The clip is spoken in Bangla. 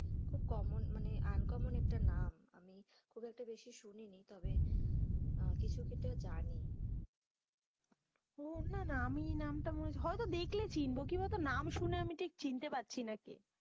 খুব common uncommon একটা নাম, আমি খুব একটা বেশি শুনি নি তবে, কিছু ক্ষেত্রে হয়তো জানি, ও না না আমি এই নাম টা মনে হয়তো দেখলে চিনবো, কি বলতো নাম শুনে আমি ঠিক চিনতে পারছি না কে?